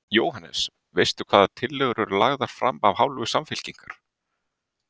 Jóhannes: Veistu hvaða tillögur eru lagðar fram af hálfu Samfylkingar?